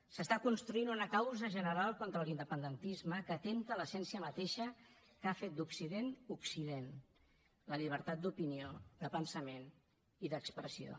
s’està construint una causa general contra l’independentisme que atempta l’essència mateixa que ha fet d’occident occident la llibertat d’opinió de pensament i d’expressió